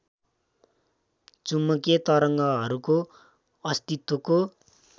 चुम्बकीय तरङ्गहरूको अस्तित्वको